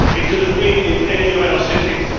It could have been in any of our cities.